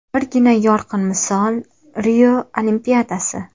Birgina yorqin misol Rio Olimpiadasi.